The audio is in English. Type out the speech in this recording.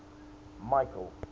michael